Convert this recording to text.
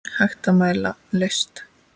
Hægt að mæla list?